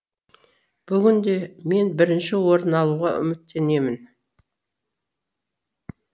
бүгін де мен бірінші орын алуға үміттенемін